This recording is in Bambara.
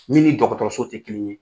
Min ni dɔgɔtɔrɔso tɛ kelen ye